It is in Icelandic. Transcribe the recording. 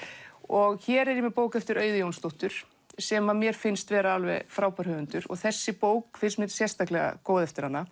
og hér er ég með bók eftir Auði Jónsdóttur sem að mér finnst vera alveg frábær höfundur og þessi bók finnst mér sérstaklega góð eftir hana